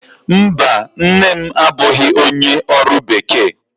Mba, nne m abụghị onye ọrụ bekee